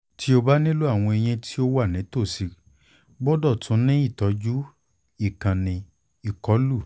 ti o ba nilo awọn eyin ti o wa nitosi gbọdọ tun ni itọju ikanni ikolu